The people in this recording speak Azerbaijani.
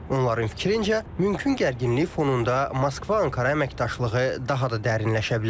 Onların fikrincə, mümkün gərginlik fonunda Moskva-Ankara əməkdaşlığı daha da dərinləşə bilər.